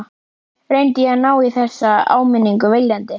Reyndi ég að ná í þessa áminningu viljandi?